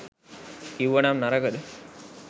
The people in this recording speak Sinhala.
කිව්වනම් නරකද?